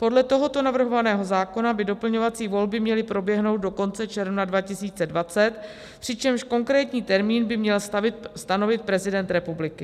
Podle tohoto navrhovaného zákona by doplňovací volby měly proběhnout do konce června 2020, přičemž konkrétní termín by měl stanovit prezident republiky.